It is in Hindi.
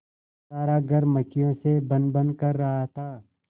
सारा घर मक्खियों से भनभन कर रहा था